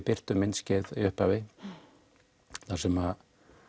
birtum myndskeið í upphafi þar sem